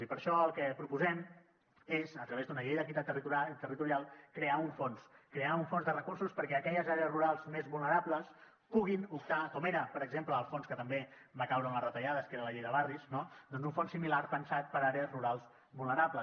i per això el que proposem és a través d’una llei d’equitat territorial crear un fons crear un fons de recursos perquè aquelles àrees rurals més vulnerables puguin optar com era per exemple el fons que també va caure en les retallades que era la llei de barris no doncs un fons similar pensat per a àrees rurals vulnerables